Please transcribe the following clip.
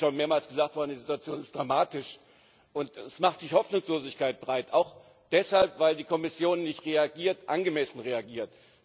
Das ist schon mehrmals gesagt worden Die Situation ist dramatisch, und es macht sich Hoffnungslosigkeit breit, auch deshalb, weil die Kommission nicht angemessen reagiert.